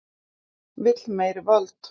Vill meiri völd